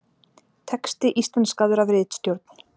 Texti íslenskaður af ritstjórn.